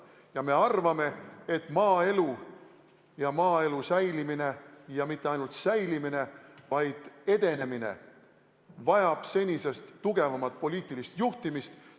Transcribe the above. Ja me arvame, et maaelu ja maaelu säilimine – ja mitte ainult säilimine, vaid edenemine – vajab senisest tugevamat poliitilist juhtimist.